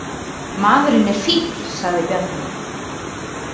Maðurinn er fífl, sagði Bjarni.